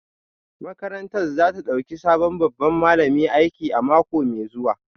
Makarantar za ta dauki sabon babban malami aiki a mako mai zuwa